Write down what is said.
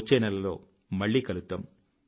వచ్చే నెలలో మళ్ళీ కలుద్దాం